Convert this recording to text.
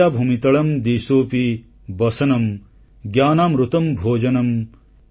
ଶଯ୍ୟା ଭୂମିତଳଂ ଦିଶୋପି ବସନଂଜ୍ଞାନାମୃତଂ ଭୋଜନଂ